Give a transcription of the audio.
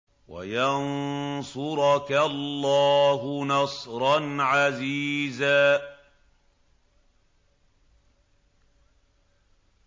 وَيَنصُرَكَ اللَّهُ نَصْرًا عَزِيزًا